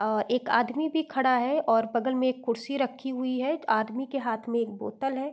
अ एक आदमी भी खड़ा है और बगल में एक कुर्सी रखी हुई है। आदमी के हाथ में एक बोतल है।